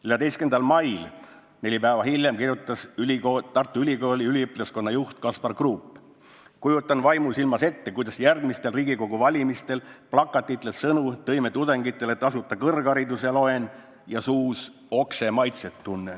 14. mail, neli päeva hiljem kirjutas Tartu Ülikooli üliõpilaskonna juht Kaspar Kruup: "Kujutan vaimusilmas ette, kuidas järgmistel riigikogu valimistel plakatitel sõnu "Tõime tudengitele tasuta kõrghariduse!" loen ja suus oksemaitset tunnen.